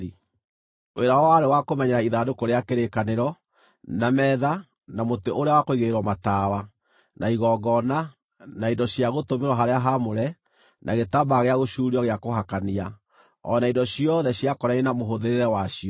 Wĩra wao warĩ wa kũmenyerera ithandũkũ rĩa kĩrĩkanĩro, na metha, na mũtĩ ũrĩa wa kũigĩrĩrwo matawa, na igongona, na indo cia gũtũmĩrwo harĩa haamũre, na gĩtambaya gĩa gũcuurio gĩa kũhakania, o na indo ciothe ciakonainie na mũhũthĩrĩre wacio.